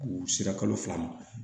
U sera kalo fila ma